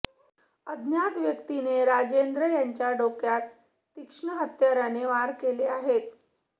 अज्ञात व्यक्तीने राजेंद्र याच्या डोक्यात तीक्ष्ण हत्याराने वार केले आहेत